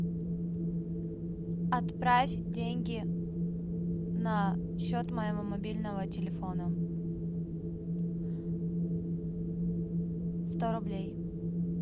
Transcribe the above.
отправь деньги на счет моего мобильного телефона сто рублей